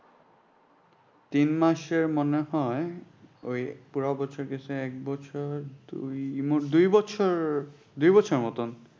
তিন মাসের মনে হয় ওই পুরো বছর গেছে এক বছর দুই মোট দুই বছর দুই বছর মতন।